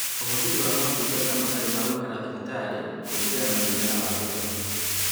Ũhũthĩri wa motungata matarĩ ma gũikara thibitarĩ kũringana na mũigana wa gĩthomo